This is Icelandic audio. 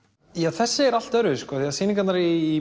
þessi er allt öðruvísi því sýningarnar í